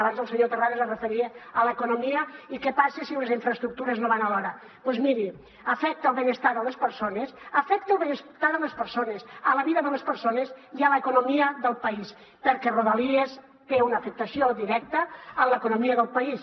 abans el senyor terrades es referia a l’economia i què passa si les infraestructures no van a l’hora doncs miri afecta el benestar de les persones afecta la vida de les persones i l’economia del país perquè rodalies té una afectació directa en l’economia del país